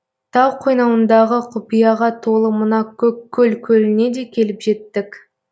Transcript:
тау қойнауындағы құпияға толы мына көккөл көліне де келіп жеттік